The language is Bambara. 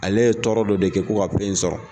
Ale ye tɔɔrɔ dɔ de kɛ ko ka fɛn in sɔrɔ